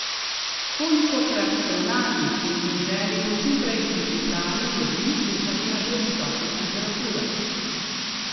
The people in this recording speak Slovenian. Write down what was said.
Kolikokrat ste v naglici in v želji po čimprejšnji pripravi jedi kuhali na previsokih temperaturah?